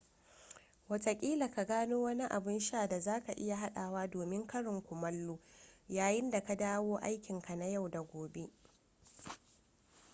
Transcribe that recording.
watakila ka gano wani abun sha da za ka iya haɗawa domin karin kumallo yayin da ka dawo aikinka na yau da gobe